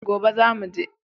Gobe za mu je